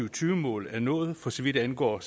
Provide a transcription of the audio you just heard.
og tyve mål er nået for så vidt angår